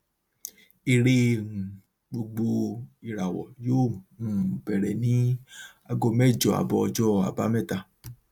eré um gbogbo ìràwọ yóò um bẹrẹ ní ago mẹjọ abọ ọjọ àbámẹta